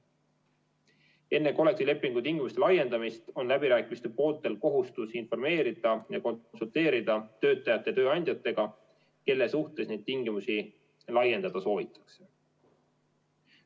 Enne kollektiivlepingu tingimuste laiendamist on läbirääkimiste pooltel kohustus informeerida töötajaid ja tööandjaid ning konsulteerida nendega, kelle suhtes neid tingimusi laiendada soovitakse.